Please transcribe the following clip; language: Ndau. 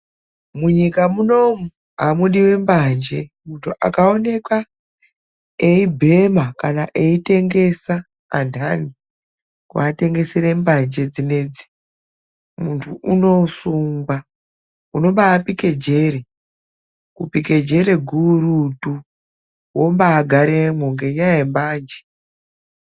Munyika munomu amudiwi mbanje. Muntu akaonekwa eibhema kana eitengesa andani kuatengesere mbanje dzinedzi, mundu unosungwa. Unobaapike jere. Kupike jere gurutu, wombaagaremwo, ngenyaya yembanje.